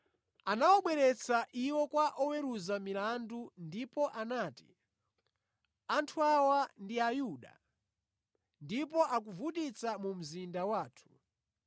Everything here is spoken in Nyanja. Anawabweretsa iwo kwa oweruza milandu ndipo anati, “Anthu awa ndi Ayuda, iwo akuvutitsa mu mzinda wathu.